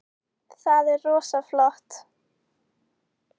Það er rosa flott.